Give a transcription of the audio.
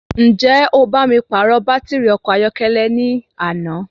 Ǹjẹ́ o bá mi pàrọ̀ bàtìrì ọkọ̀ ayọ́kẹ́lẹ́ náà ní àná?